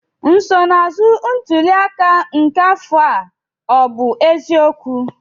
nsonaazụ ntuli aka nke afọ a ọ bụ eziokwu?